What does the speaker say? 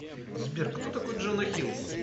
сбер кто такой джона хилл